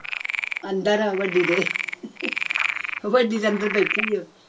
ਅੰਦਰ ਹਾਂ ਵੱਡੀ ਦੇ ਵੱਡੀ ਦੇ ਅੰਦਰ ਬੈਠੀ ਸੀ